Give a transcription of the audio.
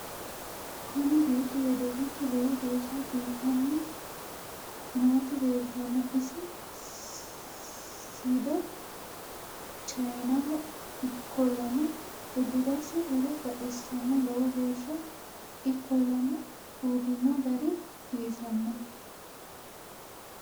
kuni beettu wedelichu lowo geeshsha biifanni nooti leeltanno isi siddo chayinaho ikkollana udirasi horo baxissanno lowo geehsa ikkollana uurrino gari giwisanno